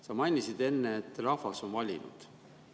Sa mainisid enne, et rahvas on valinud.